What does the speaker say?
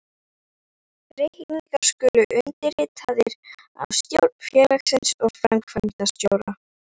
Reikningar skulu undirritaðir af stjórn félagsins og framkvæmdastjóra.